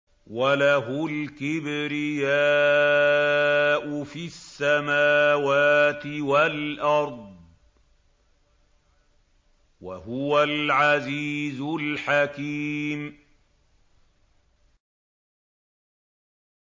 وَلَهُ الْكِبْرِيَاءُ فِي السَّمَاوَاتِ وَالْأَرْضِ ۖ وَهُوَ الْعَزِيزُ الْحَكِيمُ